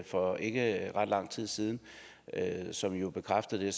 for ikke ret lang tid siden som jo bekræftede